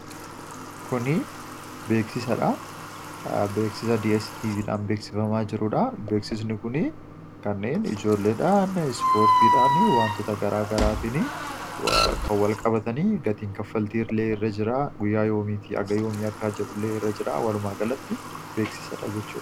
Kun beeksisa dstv dhan beeksifamaa jiruudha beeksisni kun kanneen ijoolleedhaan, ispoortiidhaan waantoota gara garaatiin kan walqabatanii gatiin kaffaltii ilee irra jiraa guyyaa yoomiiti akka jedhullee irra jiraa walumaa galatti beeksisadha jechuudha.